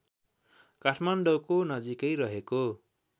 काठमाडौँको नजिकै रहेको